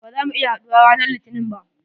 Ba za mu iya haɗuwa ranan litinin ba.